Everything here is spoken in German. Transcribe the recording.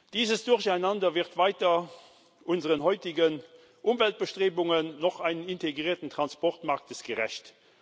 Dieses Durcheinander wird weder unseren heutigen Umweltbestrebungen noch denen eines integrierten Transportmarktes gerecht.